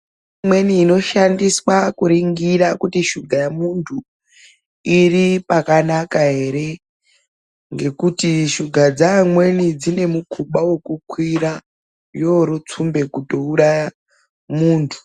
Kune michini imweni inoshandiswa kuringira kuti sugar iri pakanaka ere ngekuti sugar dzeamweni dzine mukuba wekukwira yorotsumba kutouraya munthu .